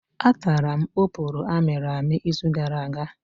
Atara m oporo amịrị amị izu gara aga.